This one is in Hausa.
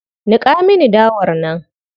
Niƙa mini dawar nan.